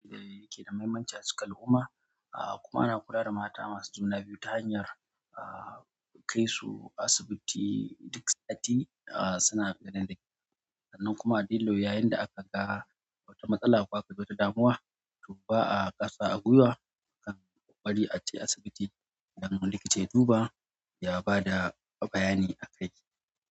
Yanda ya ke da mahimmanci a cikin al'umma, ah kuma ana kula da mata masu juna biyu ta hanyar ah kaisu asibiti duk sati ah suna gani da likita. Sannan kuma dillo yayin da aka ga wata matsala ko akaga wata damuwa to ba'a ƙasa a guiwa akanyi ƙokari aje asibiti domin likita ya duba ya ba da bayani akai.